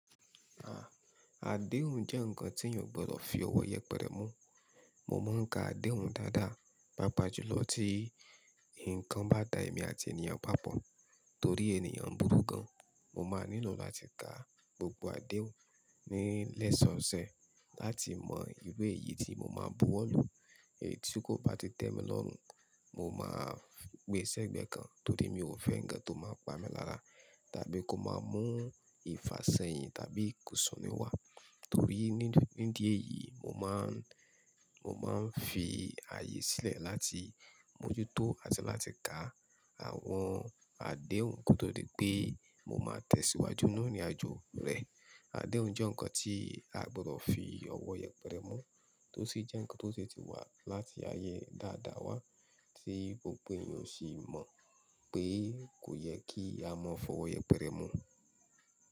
À, adéhùn jẹ́ ǹkan tí èeyàn ò gbọdọ̀ fi ọwọ́ yẹpẹrẹ mú. Mo máa ń ka adéhùn dáadáa, pàápàá jùlọ tí nǹkan bá da èmi àti ènìyàn papọ̀. Torí ènìyàn burú gan, mo máa nílò láti ka gbogbo adéhùn nílẹ̀ṣọ̀ọ̀ṣẹ́ láti mọ ìru èyí tí mo máa bu wọ́ lu. Èyí tí kò bá ti tẹ́ mi lọ́hun, mo máa gbé sẹ́ gbẹ́ kan torí mi ò fẹ́ ǹkan tó máa pa mi láraà tàbí kó máa mú ìfàṣẹ́yìn tàbí ìkùnsún ni wá. Torí nínú ní díẹ̀ yìí, mo má ń, mo máa ń fi ààyè sílẹ̀ láti mójútó àti láti ka àwọn adéhùn kótó di pé mo máa tẹ̀síwájú nínú ìrìnàjò rẹ̀. Adéhùn jẹ́ ǹkan tí a gbọdọ̀ fi ọwọ́ yẹpẹrẹ mú, tó sì jẹ́ ǹkan tó ti wà láti ayé dáadáa wá tí gbogbo èeyàn o sì mọ̀ pé kò yẹ kí a mọ́ fọwọ́ yẹpẹrẹ mú.